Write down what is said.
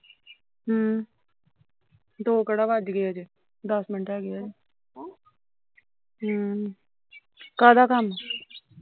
ਹਮ ਦੋ ਕਿਹੜਾ ਵੱਜ ਗਏ ਅਜੇ, ਦੱਸ ਮਿੰਟ ਹੈਗੇ ਅਜੇ ਹਮ ਕਾਹਦਾ ਕੰਮ